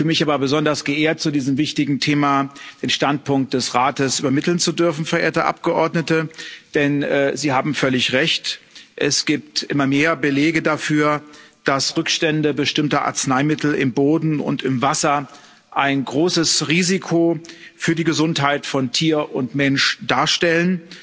Ich fühle mich aber besonders geehrt, zu diesem wichtigen Thema den Standpunkt des Rates übermitteln zu dürfen, verehrte Abgeordnete, denn Sie haben völlig Recht Es gibt immer mehr Belege dafür, dass Rückstände bestimmter Arzneimittel im Boden und im Wasser ein großes Risiko für die Gesundheit von Tier und Mensch darstellen,